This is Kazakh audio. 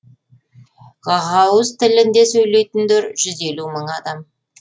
ғағауыз тілінде сөйлейтіндер жүз елу мың адам